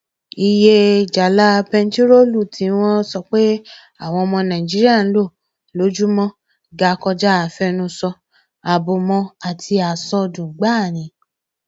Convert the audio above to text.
iye jálá bẹntiróòlù tí wọn sọ páwọn ọmọ nàìjíríà ń lò lójúmọ ga kọjá àfẹnusọ àbùmọ àti àsọdùn gbáà ni